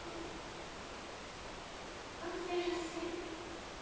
Não seja assim.